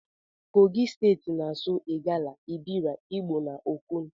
Kogi steti na asụ igala, ebira, igbo na okun.